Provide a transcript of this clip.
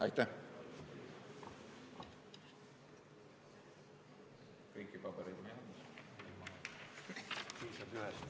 Aitäh!